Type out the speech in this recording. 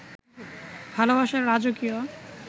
ভালোবাসার রাজকীয়